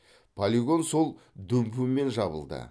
полигон сол дүмпумен жабылды